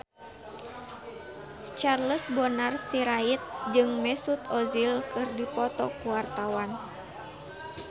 Charles Bonar Sirait jeung Mesut Ozil keur dipoto ku wartawan